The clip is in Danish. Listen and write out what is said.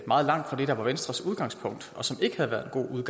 meget langt fra det der var venstres udgangspunkt og som ikke havde været en god